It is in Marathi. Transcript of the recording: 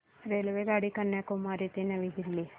रेल्वेगाडी कन्याकुमारी ते नवी दिल्ली